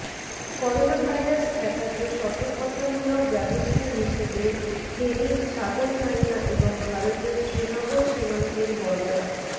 coronavirus ঠেকাতে সতর্কতামূলক ব্যবস্থা হিসেবে ফেনীর ছাগলনাইয়া এবং ভারতের শ্রীনগর সীমান্তের বর্ডা